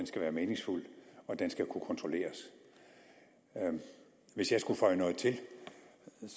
skal være meningsfuld og den skal kunne kontrolleres hvis jeg skulle føje noget til ville jeg